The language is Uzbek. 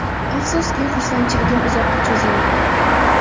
Afsuski, xursandchiligim uzoqqa cho‘zilmadi.